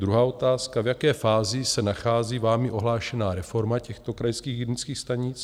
Druhá otázka, v jaké fázi se nachází vámi ohlášená reforma těchto krajských hygienických stanic?